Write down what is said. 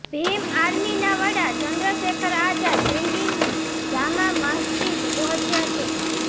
ભીમ આર્મીના વડા ચંદ્રશેખર આઝાદ દિલ્હીની જામા મસ્જિદ પહોંચ્યા છે